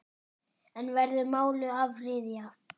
En verður málinu áfrýjað?